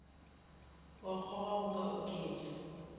wa kgoga go ka oketša